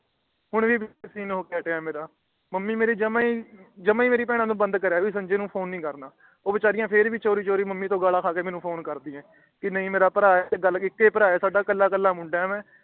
ਹੁਣ ਵੀ ਮੰਮੀ ਮੇਰੀ ਜਮਾ ਹੀ ਜਮਾ ਹੀ ਬਹਿਣਾ ਨੂੰ ਬੰਦ ਕਰਿਆ ਹੈ ਕਿ ਸੰਜੇ ਨੂੰ ਫੋਨ ਨੀ ਕਰਨਾ ਊ ਵਿਚਾਰੀ ਫੇਰ ਭੀ ਮੰਮੀ ਤੋਂ ਗੱਲਾਂ ਖ਼ਾਂ ਕੇ ਮੇਨੂ ਫੋਨ ਕਰਦੀ ਹੈ ਕਿ ਨੀ ਭਰਾ ਹੈ ਸਾਡਾ ਇਕ ਹੀ ਭਰਾ ਹੈ ਕੱਲਾ ਕੱਲਾ ਮੁੰਡਾ ਹੈ ਮੈ